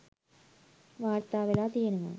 වාර්තා වෙලා තියනවා.